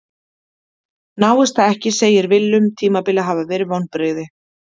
Náist það ekki segir Willum tímabilið hafa verið vonbrigði.